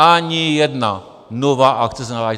Ani jedna nová akce se nezahájí.